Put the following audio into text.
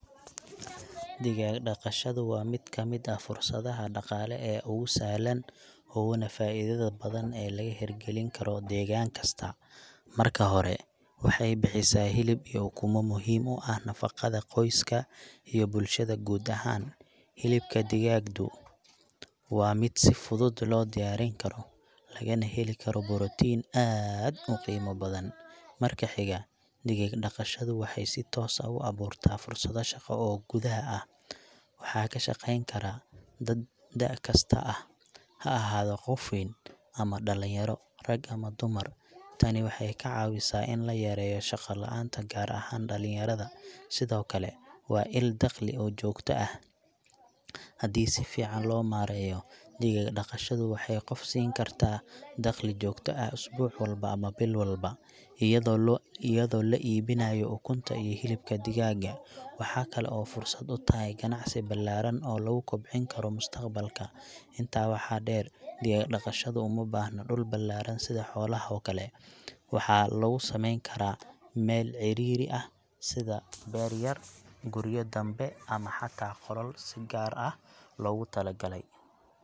Digaag-dhaqashadu waa mid ka mid ah fursadaha dhaqaale ee ugu sahlan uguna faa’iidada badan ee laga hirgelin karo deegaan kasta. Marka hore, waxay bixisaa hilib iyo ukumo muhiim u ah nafaqada qoyska iyo bulshada guud ahaan. Hilibka digaagdu waa mid si fudud loo diyaarin karo, lagana heli karo borotiin aad u qiimo badan. Marka xiga, digaag-dhaqashadu waxay si toos ah u abuurtaa fursado shaqo oo gudaha ah. Waxaa ka shaqeyn kara dad da’ kasta ah, ha ahaado qof weyn ama dhallinyaro, rag ama dumar. Tani waxay ka caawisaa in la yareeyo shaqo-la’aanta, gaar ahaan dhalinyarada. Sidoo kale, waa il dakhli oo joogto ah. Haddii si fiican loo maareeyo, digaag-dhaqashadu waxay qofka siin kartaa dakhli joogto ah asbuuc walba ama bil walba, iayadoo loo, iyadoo la iibinayo ukunta iyo hilibka digaaga. Waxaa kale oo fursad u tahay ganacsi ballaaran oo lagu kobcin karo mustaqbalka. Intaa waxaa dheer, digaag-dhaqashadu uma baahna dhul ballaaran sida xoolaha oo kale. Waxaa lagu samayn karaa meel cidhiidhi ah sida beer yar gurya danbe ama xataa qolal si gaar ah loogu talagalay.